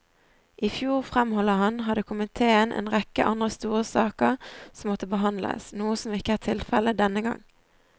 I fjor, fremholder han, hadde komiteen en rekke andre store saker som måtte behandles, noe som ikke er tilfelle denne gang.